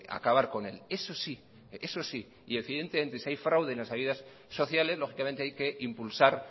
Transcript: acabar con él eso sí y si de si hay fraude en las ayudas sociales lógicamente hay que impulsar